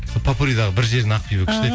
сол поппуридағы бір жерін ақбибі күшті